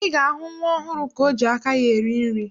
Ị ga-ahụ nwa ọhụrụ ka o ji aka ya eri nri.